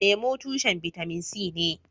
Lemu, tushen bitamin C ne.